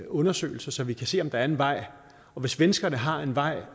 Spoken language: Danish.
undersøgelser så vi kan se om der er en vej og hvis svenskerne har en vej